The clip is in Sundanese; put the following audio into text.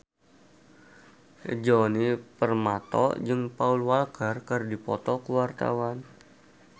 Djoni Permato jeung Paul Walker keur dipoto ku wartawan